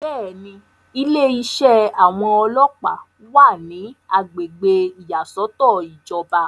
bẹ́ẹ̀ni, ilé iṣẹ́ àwọn ọlọ́ọ̀pá wà ní agbègbè ìyàsọ́tọ̀ ìjọba